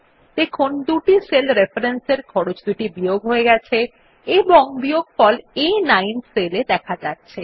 দেখুন দুটি সেল রেফরেন্সের খরচদুটি বিয়োগ হয়ে গেছে এবং বিয়োগফল আ9 সেল এ দেখা যাচ্ছে